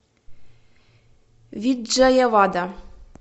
виджаявада